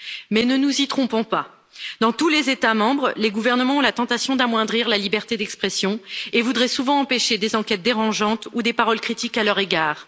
Mais ne nous y trompons pas dans tous les États membres, les gouvernements ont la tentation d'amoindrir la liberté d'expression et voudraient souvent empêcher des enquêtes dérangeantes ou des paroles critiques à leur égard.